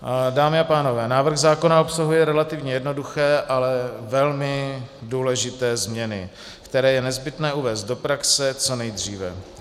Dámy a pánové, návrh zákona obsahuje relativně jednoduché, ale velmi důležité změny, které je nezbytné uvést do praxe co nejdříve.